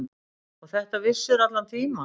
Og þetta vissirðu allan tímann.